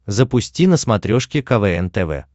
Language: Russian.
запусти на смотрешке квн тв